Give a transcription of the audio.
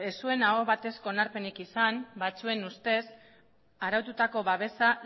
ez zuen aho batezko onarpenik izan batzuen ustez araututako babesa